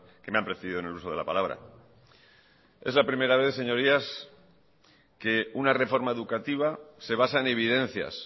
que me han precedido en el uso de la palabra es la primera vez señorías que una reforma educativa se basa en evidencias